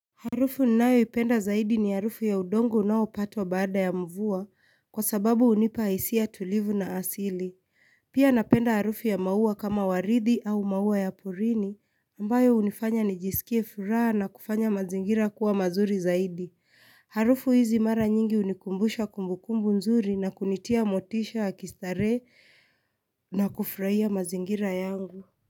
Harufu ninayo ipenda zaidi ni harufu ya udongo unaopatwa baada ya mvua kwa sababu unipa hisia tulivu na asili. Pia napenda harufu ya maua kama waridi au maua ya porini ambayo unifanya nijisikie furaha na kufanya mazingira kuwa mazuri zaidi. Harufu hizi mara nyingi unikumbusha kumbukumbu nzuri na kunitia motisha ya kistarehe na kufraia mazingira yangu.